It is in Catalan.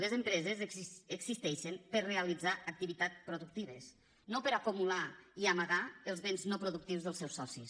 les empreses existeixen per a realitzar activitats productives no per a acumular i amagar els béns no productius dels seus socis